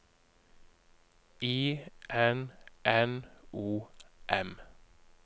I N N O M